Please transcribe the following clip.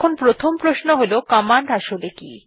এখন প্রথম প্রশ্ন হল কমান্ড আসলে কি160